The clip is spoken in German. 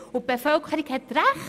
Die Bevölkerung hat Recht!